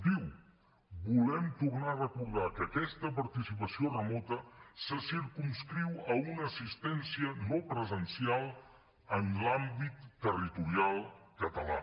diu volem tornar a recordar que aquesta participació remota se circumscriu a una assistència no presencial en l’àmbit territorial català